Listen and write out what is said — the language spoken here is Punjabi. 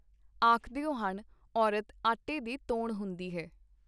ਆਖਦੇ ਹਨ-ਔਰਤ ਆਟੇ ਦੀ ਤੌਣ ਹੁੰਦੀ ਹੈ.